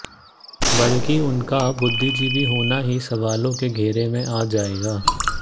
बल्कि उनका बुद्धिजीवी होना ही सवालों के घेरे में आ जायेगा